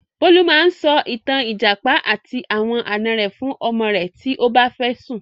Bólú máa sọ ìtàn 'Ìjàpá àti àwọn àná rẹ' fún ọmọ rẹ̀ tí ó bá fẹ́ sùn.